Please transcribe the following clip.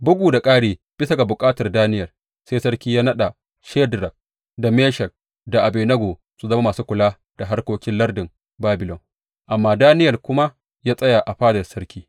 Bugu da ƙari, bisa ga bukatar Daniyel sai sarki yă naɗa Shadrak da Meshak da Abednego su zama masu kula da harkokin lardin Babilon, amma Daniyel kuma ya tsaya a fadar sarki.